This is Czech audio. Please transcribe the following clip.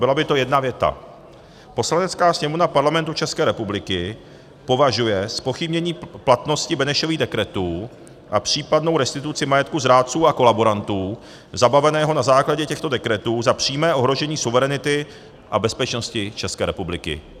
Byla by to jedna věta: "Poslanecká sněmovna Parlamentu České republiky považuje zpochybnění platnosti Benešových dekretů a případnou restituci majetku zrádců a kolaborantů zabaveného na základě těchto dekretů za přímé ohrožení suverenity a bezpečnosti České republiky."